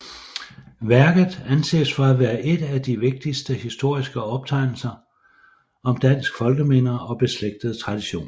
Værket anses for at være et af de vigtigste historiske optegnelser om dansk folkeminder og beslægtede traditioner